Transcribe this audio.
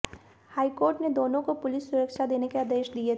high court ने दोनों को पुलिस सुरक्षा देने के आदेश दिए थे